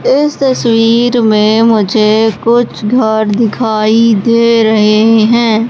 इस तस्वीर में मुझे कुछ घर दिखाई दे रहे हैं।